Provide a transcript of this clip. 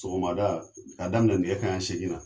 Sogomada ka daminɛ nɛgɛ kanɲɛ segin na.